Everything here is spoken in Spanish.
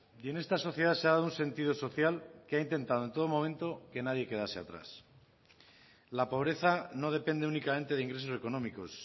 y en esta sociedad se ha dado un sentido social que ha intentado en todo momento que nadie quedase atrás la pobreza no depende únicamente de ingresos económicos